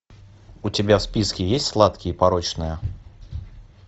у тебя в списке есть сладкие и порочные